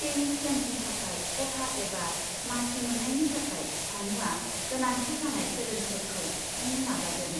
Paris गेम्सनि थाखाय खथा एबा मासि मोन्नायनि थाखाय सानुआ गोनांथि जानाय सेलेन्जफोरखौ सुफुंनो नाजागोन।